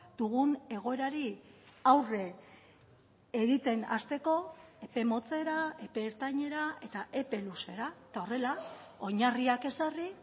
dugun egoerari aurre egiten hasteko epe motzera epe ertainera eta epe luzera eta horrela oinarriak ezarri